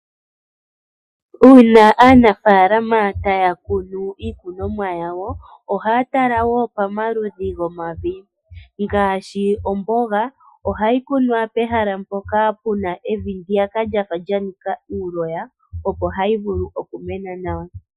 Uuna aanafaalama taya kunu iikunomwa yawo ohaya tala wo pamaludhi gomavi ngaashi omboga ohayi kunwa pehala ndyoka lyafa lyanika eloya opo hayi vulu okumena nawa.